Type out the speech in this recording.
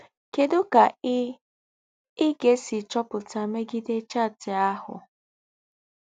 Kedụ ka ị ị ga-esi chọpụta megide chaatị ahụ?